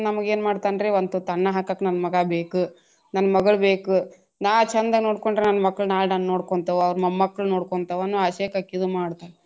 ನಮಗೇನ ಮಾಡ್ತಾನ ರೀ ಒಂದ ತುತ್ತು ಅನ್ನ ಹಾಕಾಕ ನನ್ನ ಮಗಾ ಬೇಕು ನನ್ನ್ ಮಗಳ್ ಬೇಕು ನಾ ಚಂದ ನೋಡಿಕೊಂಡ್ರಾ ನನ್ ಮಕ್ಕಳ ನಾಳೆ ನನ್ನ ನೋಡ್ಕೊಂತಾವ ಅವ್ರ ಮೊಮ್ಮಕಳ ನೋಡ್ತಾವ ಅನ್ನೋ ಆಸೆಕ ಅಕಿ ಇದು ಮಾಡ್ತಾಳ.